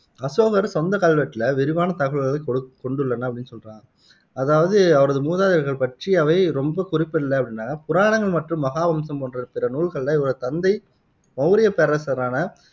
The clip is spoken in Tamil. அசோகரின் சொந்தக் கல்வெட்டுல விரிவான தகவல்களைக் கொ கொண்டுள்ளன அப்படின்னு சொல்றாங்க அதாவது அவரது மூதாதையர்கள் பற்றி அவை ரொம்ப குறிப்பிடலை அப்படின்னாங்க புராணங்கள் மற்றும் மகாவம்சம் போன்ற பிற நூல்களில இவரது தந்தை மௌரியப் பேரரசரான